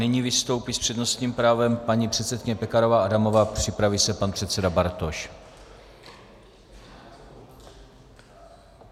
Nyní vystoupí s přednostním právem paní předsedkyně Pekarová Adamová, připraví se pan předseda Bartoš.